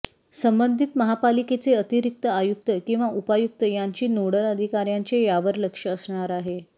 संबंधीत महापालिकेचे अतिरिक्त आयुक्त किंवा उपायुक्त यांची नोडल अधिकाऱ्यांचे यावर लक्ष असणार आहे